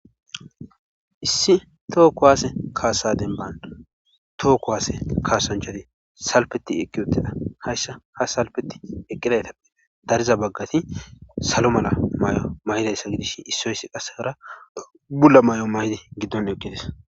Issi tookko waase kaasa denban tookko waase kaasanchadi salpeti eqqi uttida haysha ha salpeti eqqidaytappe dariza baggati salo mala may7o may7iday salidishi issoyssi qassekara bulla may7o may7idi giddon eqqites.